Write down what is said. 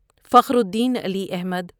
Fakhruddin Ali Ahmad